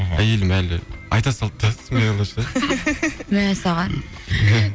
мхм әйелім әлі айта салды да мәссаған